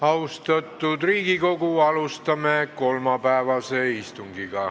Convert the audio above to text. Austatud Riigikogu, alustame kolmapäevast istungit.